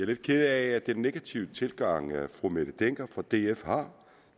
lidt ked af den negative tilgang fru mette hjermind dencker fra df har